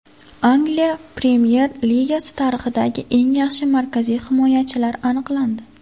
Angliya Premyer Ligasi tarixidagi eng yaxshi markaziy himoyachilar aniqlandi.